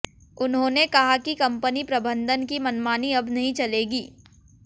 उन्हांेने कहा कि कंपनी प्रबंधन की मनमानी अब नहीं चलेगी